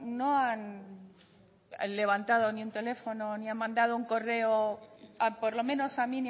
no han levantado ni un teléfono ni han mandando un correo por lo menos a